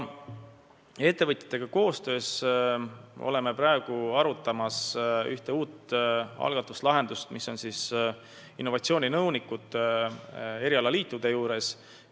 Ettevõtjatega koostöös arutame praegu ühte uut algatust, milleks on innovatsiooninõunikud erialaliitude juures.